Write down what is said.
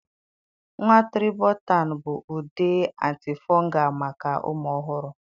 nwa tribotan bụ ude antifungal maka ụmụ ọhụrụ.